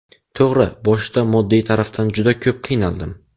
To‘g‘ri, boshida moddiy tarafdan juda ko‘p qiynaldim.